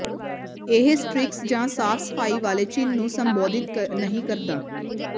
ਇਹ ਸਟ੍ਰਿਕਸ ਜਾਂ ਸਾਫ ਸਫਾਈ ਵਾਲੇ ਚਿੰਨ੍ਹ ਨੂੰ ਸੰਬੋਧਿਤ ਨਹੀਂ ਕਰਦਾ